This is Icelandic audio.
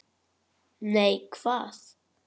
Nei, hvað?